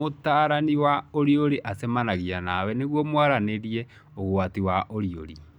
Mũtarani wa ũriũrĩ acemanagia nawe nĩguo mwaranĩrie ũgwati wa ũriũri.